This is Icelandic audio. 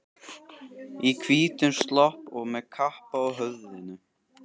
Í hvítum slopp og með kappa á höfðinu.